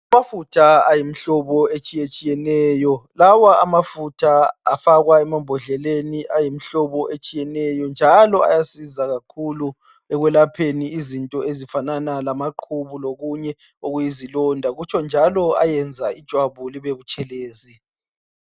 amafutha ayimihlobo etshiyetshiyeneyo lawa amafutha afakwa emambodleleni ayimhloboetshiyeneyo njalo kuyasiza kakhulu ekwelapheni izinto ezifanana lamaqhubu lokunye okuyizilonda kutsho njalo ayayenza ijwabu libe butshelezi